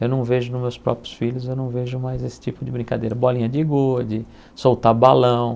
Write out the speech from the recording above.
Eu não vejo nos meus próprios filhos, eu não vejo mais esse tipo de brincadeira, bolinha de gude, soltar balão.